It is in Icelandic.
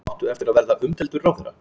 Áttu eftir að verða umdeildur ráðherra?